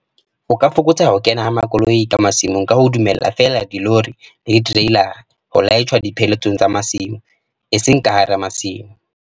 O ka fokotsa ho kena ha makoloi masimong ka ho dumella feela dilori le ditereilara ho laitjhwa dipheletsong tsa masimo, eseng ka hara masimo.